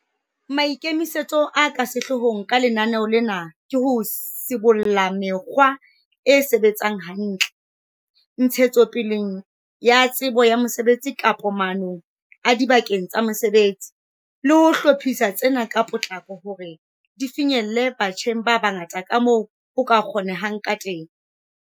Maikemisetso a ka sehloohong ka lenaneo lena ke ho sibolla mekgwa e sebetsang hantle, ntshetsopeleng ya tsebo ya mosebetsi kapa maanong adibakeng tsa mosebetsi, le ho hlophisa tsena ka potlako hore di finyelle batjheng ba bangata kamoo ho ka kgonehang kateng.